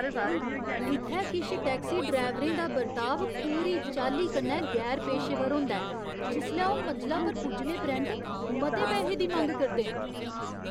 इ'त्थै किश टैक्सी ड्रैवरें दा बर्ताव पूरी चाल्ली कन्नै गैर पेशेवर होंदा ऐ जिसलै ओह् मंजला पर पुज्जने परैंत्त मते पैहे दी मंग करदे न।